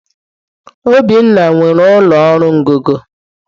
Obinna nwere ụlọ ọrụ ngọngọ